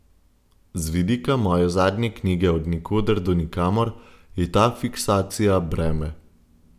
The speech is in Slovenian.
Z vidika moje zadnje knjige Od nikoder do nikamor je ta fiksacija breme.